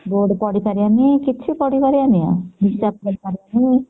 board ପଢି ପାରିବ ନି କିଛି ପଢି ପାରିବନି